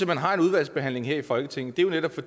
man har en udvalgsbehandling her i folketinget er jo netop at